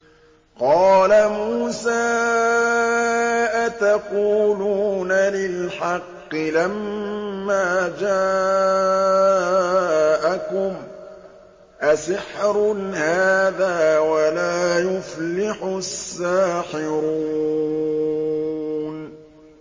قَالَ مُوسَىٰ أَتَقُولُونَ لِلْحَقِّ لَمَّا جَاءَكُمْ ۖ أَسِحْرٌ هَٰذَا وَلَا يُفْلِحُ السَّاحِرُونَ